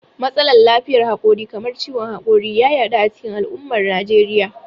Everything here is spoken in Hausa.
Matsalar lafiyar hakori kamar ciwon hakori ya yaɗu a cikin al'ummar Najeriya.